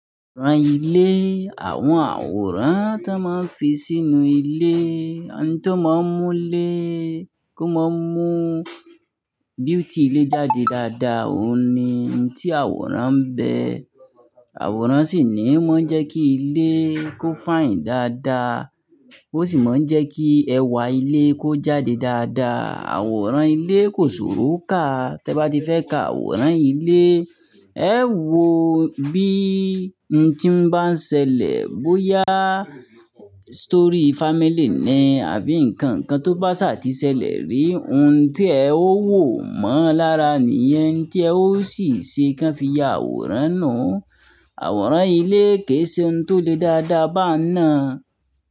Àwòrán ilé, àwọn àwòrán tó máa ń fi sínú ilé, ohun tó máa ń mú ilé kó máa mú beauty ilé jáde dáadáa, òun ni ohun tí àwòrán ń bẹ. Àwòrán sì ni ó máa ń jẹ́ kí ilé kó f'àì n dáadáa, ó sì máa ń jẹ́ kí ẹwà ilé kó jáde dáadáa. Àwòrán ilé kò ṣòro kà. Tẹ bá ti fẹ́ ka àwòrán ilé, ẹ wò bí óhún tí ń bá ń ṣẹlẹ̀ bóyá story family ní àbí nǹkàn kàn tó bá ṣàtìṣẹ́lẹ̀ rí, òhún tí ẹ ó wò mọ́ lára ni ẹni tí ẹ ó sì ṣe kí ẹ fi ya àwòrán náà. Àwòrán ilé kì í ṣe òhún tó le dáadáa bá nà.